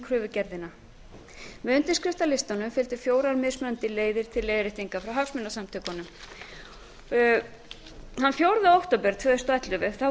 kröfugerðina með undirskriftalistanum fylgdu fjórar mismunandi leiðir til leiðréttinga frá hagsmunasamtökunum þann fjórða október tvö þúsund og ellefu